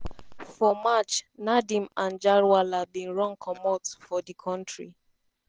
for march nadeem anjarwalla bin run comot for for di kontri.